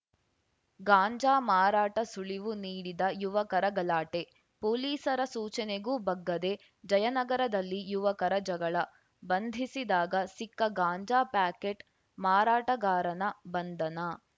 ಗಾಂಜಾ ಮಾರಾಟ ಸುಳಿವು ನೀಡಿದ ಯುವಕರ ಗಲಾಟೆ ಪೊಲೀಸರ ಸೂಚನೆಗೂ ಬಗ್ಗದೆ ಜಯನಗರದಲ್ಲಿ ಯುವಕರ ಜಗಳ ಬಂಧಿಸಿದಾಗ ಸಿಕ್ಕ ಗಾಂಜಾ ಪ್ಯಾಕೇಟ್‌ ಮಾರಾಟಗಾರನ ಬಂಧನ